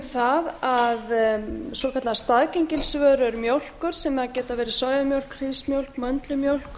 það að svokallaðar staðgengilsvörur mjólkur sem geta verið sojamjólk hrísmjólk möndlumjólk